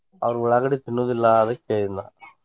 ಅವ್ರ ಉಳ್ಳಾಗಡ್ಡಿ ತಿನ್ನುದಿಲ್ಲ ಅದಕ್ಕ ಹೇಳಿದ್ದ ನಾ.